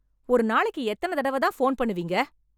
ஒரு நாளைக்கு எத்தன தடவ தான் ஃபோன் பண்ணுவீங்க?